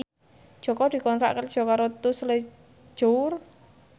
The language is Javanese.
Jaka dikontrak kerja karo Tous Les Jour